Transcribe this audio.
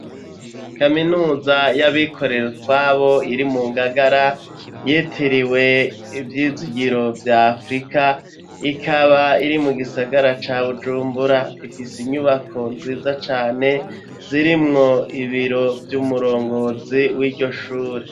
Kaminuza y'abikorera utwabo iri mu ngagara yitiriwe ivyizigiro vya afurika ikaba iri mu gisagara ca bujumbura ifise inyubako nziza cane zirimwo ibiro vy'umurongozi w'iryo shure.